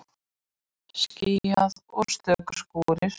Skýjað og stöku skúrir